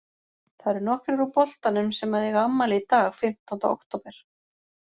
Það eru nokkrir úr boltanum sem að eiga afmæli í dag fimmtánda október.